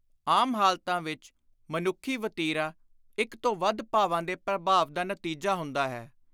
ਆਮ ਹਾਲਤਾਂ ਵਿਚ ਮਨੁੱਖੀ ਵਤੀਰਾ ਇਕ ਤੋਂ ਵੱਧ ਭਾਵਾਂ ਦੇ ਪ੍ਰਭਾਵ ਦਾ ਨਤੀਜਾ ਹੁੰਦਾ ਹੈ।